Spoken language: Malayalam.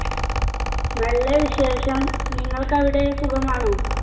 നല്ല വിശേഷം നിങ്ങൾക്ക് അവിടെ സുഖമാണോ